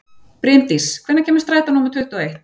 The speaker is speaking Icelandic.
Brimdís, hvenær kemur strætó númer tuttugu og eitt?